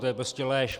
To je prostě lež.